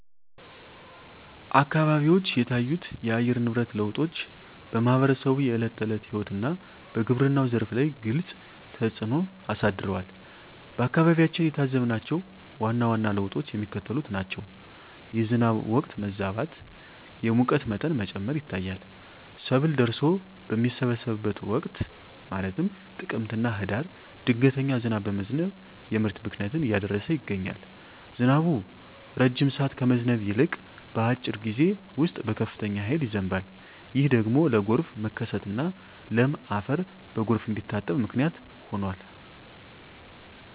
አካባቢዎች የታዩት የአየር ንብረት ለውጦች በማኅበረሰቡ የዕለት ተዕለት ሕይወትና በግብርናው ዘርፍ ላይ ግልጽ ተፅእኖ አሳድረዋል። በአካባቢያችን የታዘብናቸው ዋና ዋና ለውጦች የሚከተሉት ናቸው፦ የዝናብ ወቅት መዛባት፣ የሙቀት መጠን መጨመር ይታያል። ሰብል ደርሶ በሚሰበሰብበት ወቅት (ጥቅምትና ህዳር) ድንገተኛ ዝናብ በመዝነብ የምርት ብክነትን እያደረሰ ይገኛል። ዝናቡ ረጅም ሰዓት ከመዝነብ ይልቅ፣ በአጭር ጊዜ ውስጥ በከፍተኛ ኃይል ይዘንባል። ይህ ደግሞ ለጎርፍ መከሰትና ለም አፈር በጎርፍ እንዲታጠብ ምክንያት ሆኗል።